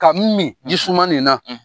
Ka n min ji suma nin na.